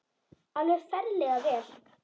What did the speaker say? Alveg ferlega vel.